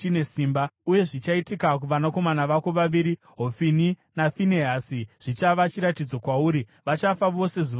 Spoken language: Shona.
“ ‘Uye zvichaitika kuvanakomana vako vaviri, Hofini naFinehasi zvichava chiratidzo kwauri, vachafa vose zuva rimwe chete.